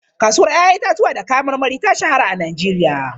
Kasuwar 'ya'yan itatuwa da kayan marmari ta shahara a Najeriya.